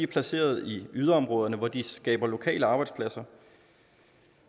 placeret i yderområderne hvor de skaber lokale arbejdspladser